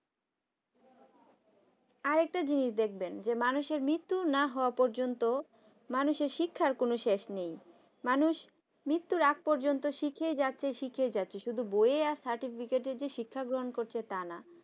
আর একটা জিনিস দেখবেন মানুষের মৃত্যু না হওয়া পর্যন্ত মানুষের শিক্ষার কোন শেষ নেই মানুষ মৃত্যুর আগ পর্যন্ত শিখাই যাচ্ছে শিখেই যাচ্ছে। শুধু বই আর সার্টিফিকেটের শিক্ষা গ্রহণ করছে তাই না